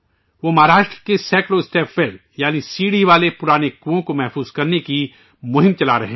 وہ مہاراشٹر کے سینکڑوں اسٹیپ ویل یعنی سیڑھی والے پرانے کنوؤں کے تحفظ کی مہم چلا رہے ہیں